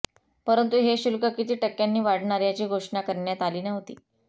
परंतु हे शुल्क किती टक्क्यांनी वाढणार याची घोषणा करण्यात आली नव्हती